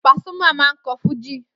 Pasuma máa ń kọ́ fújì